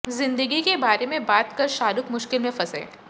जिंदगी के बारे में बात कर शाहरुख मुश्किल में फंसे